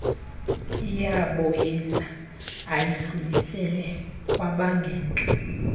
iyamoyisa ayidlulisele kwabangentla